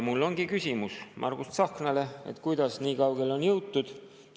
Mul ongi küsimus Margus Tsahknale, et kuidas nii kaugele on jõutud.